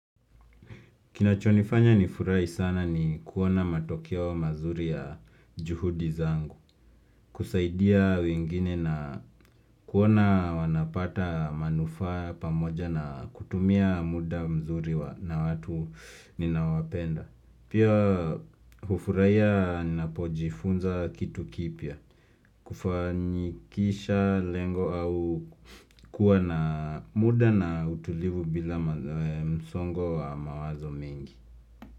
Kinachonifanya nifurai sana ni kuona matokeo mazuri ya juhudi zangu, kusaidia wengine na kuona wanapata manufaa pamoja na kutumia muda mzuri wa na watu ninawapenda. Pia hufuraia ninapojifunza kitu kipya, kufanyikisha lengo au kuwa na muda na utulivu bila msongo wa mawazo mengi.